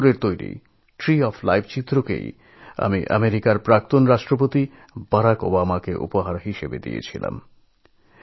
আব্দুল গফুরের বানানো tree of life আমি আমেরিকার প্রাক্তন রাষ্ট্রপতি বারাক ওবামাকে উপহার দিয়েছিলাম